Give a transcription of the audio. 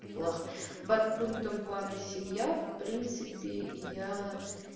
план подпунктом плана семья в принципе я